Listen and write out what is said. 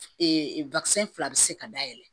fila bɛ se ka dayɛlɛ